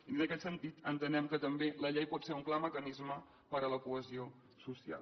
i en aquest sentit entenem que també la llei pot ser un clar mecanisme per a la cohesió social